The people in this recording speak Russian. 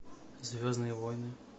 звездные войны